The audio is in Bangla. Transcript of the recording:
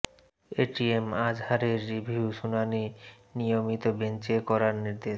এ টি এম আজহারের রিভিউ শুনানি নিয়মিত বেঞ্চে করার নির্দেশ